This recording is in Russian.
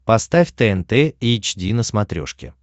поставь тнт эйч ди на смотрешке